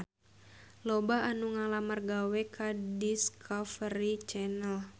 Loba anu ngalamar gawe ka Discovery Channel